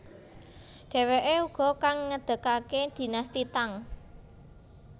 Dheweke uga kang ngedegake dinasti Tang